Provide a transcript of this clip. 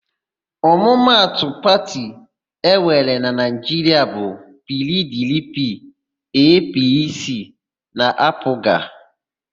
Ọmụmatụ òtù pati enwere na Naịjiria bụ PIiDIiPIi, EePiiSii na AaPụga.